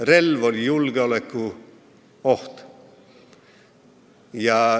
Relv oli julgeolekuoht.